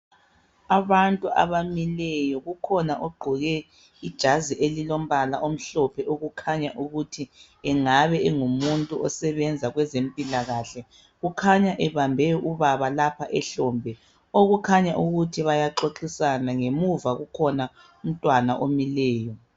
Abantu abamileyo. Kukhona ogqoke ijazi elilombala omhlophe okukhanya ukuthi engabe engumuntu osebenza kwezempilakahle. Ukhanya ebambe ubaba lapha ehlombe, okukhanya ukuthi bayaxoxisana. Ngemuva kukhona umntwana omileyo.